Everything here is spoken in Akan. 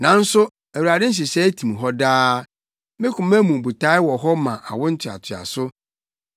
Nanso Awurade nhyehyɛe tim hɔ daa, ne koma mu botae wɔ hɔ ma awo ntoatoaso.